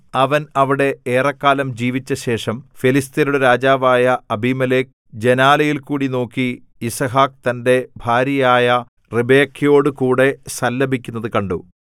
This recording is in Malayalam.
അവൻ അവിടെ ഏറെക്കാലം ജീവിച്ചശേഷം ഫെലിസ്ത്യരുടെ രാജാവായ അബീമേലെക്ക് ജനാലയിൽക്കൂടി നോക്കി യിസ്ഹാക്ക് തന്റെ ഭാര്യയായ റിബെക്കയോടുകൂടെ സല്ലപിക്കുന്നതു കണ്ടു